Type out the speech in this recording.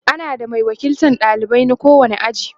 ana da Mai wakiltan ɗalibai na kowani aji